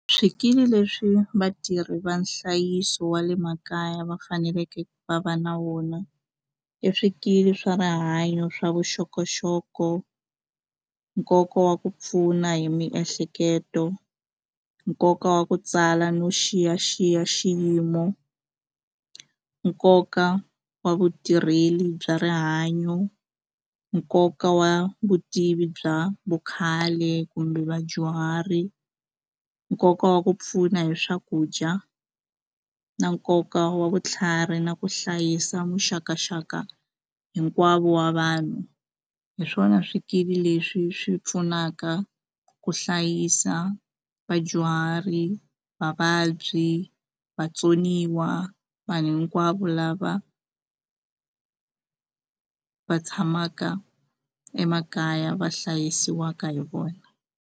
Swikili leswi vatirhi va nhlayiso wa le makaya va faneleke va va na wona i swikili swa rihanyo swa vuxokoxoko nkoka wa ku pfuna hi miehleketo nkoka wa ku tsala no xiyaxiya xiyimo nkoka wa vutirheli bya rihanyo nkoka wa vutivi bya vukhale kumbe vadyuhari nkoka wa ku pfuna hi swakudya na nkoka wa vutlhari na ku hlayisa muxakaxaka hinkwavo wa vanhu hi swona swikili leswi swi pfunaka ku hlayisa vadyuhari vavabyi vatsoniwa vanhu hinkwavo lava va tshamaka emakaya va hlayisiwaka hi vona.